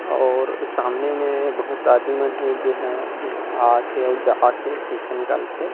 और सामने में बहुत आदमी मन हे जेनहा आथे अउ जाथे पैसा निकाल के--